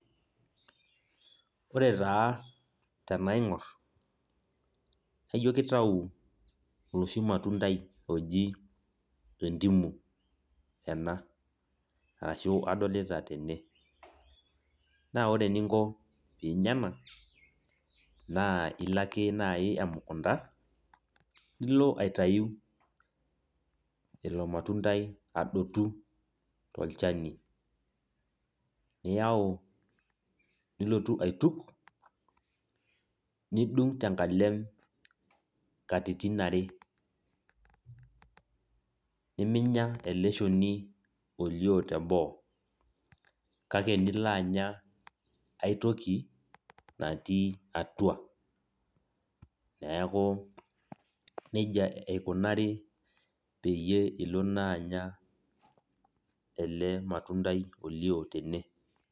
Ore taa tenaing'or, na ijo kitau oloshi matundai oji entimu ena, ashu adolita tene. Na ore eninko pinya ena, na ilo ake nai emukunda, nilo aitayu ilo matundai adotu tolchani. Niyau nilotu aituk, nidung' tenkalem katitin are. Niminya ele shoni olio teboo. Kake nilo anya aitoki, natii atua. Neeku nejia eikunari peyie ilo naanya ele matundai olio tene.